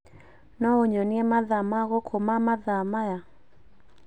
no ũnyonie mathaa ma gũkũ ma mathaa maya